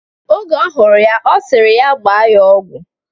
Oge ọhụrụ ya, ọ sịrị ya gbaa ya ọgwụ.